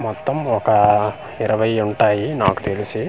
మొత్తం ఒక అఅ ఇరవై ఉంటాయి నాకు తెలిసి .